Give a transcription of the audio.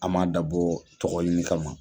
An m'a dabɔ tɔgɔ ɲini kama